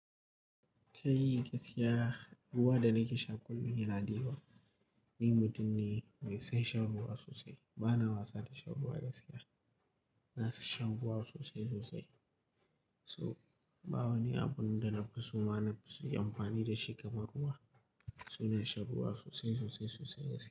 Kai gaskiya, ruwa da nake sha kullum yana da yawa Ni mutum ne mai son shan ruwa sosai. Bana wasa da shan ruwa gaskiya. Ina ta shan ruwa sosai sosai. So, ba wani abun da na fi so, amfani da shekaru dina. Su na shan ruwa sosai sosai sosai yes.